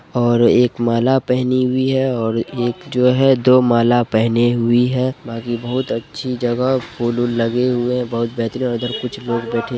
और एक माला पहनी हुई है और एक जो है दो माला पहनी हुई है| बाकी बहुत अच्छी जगह फुल-वुल लगे हुए हैं बहुत बेहतरीन उधर कुछ लोग बैठे--